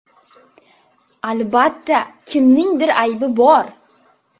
Albatta, kimningdir aybi bor.